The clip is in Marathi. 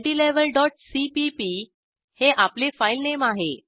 multilevelसीपीपी हे आपले फाईलनेम आहे